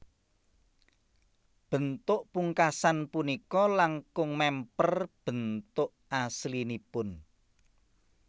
Bentuk pungkasan punika langkung mèmper bentuk aslinipun